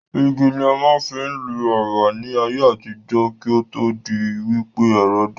Igi ni a máa ń fi ń lu ẹ̀wà ní ayé àtijọ́, kí ó tó di wí pé ẹ̀rọ dé